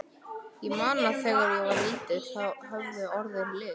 Ég man að þegar ég var lítill höfðu orðin lit.